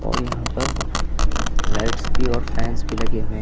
और यहां पर लाइट्स भी और फैंस भी लगे हुए हैं।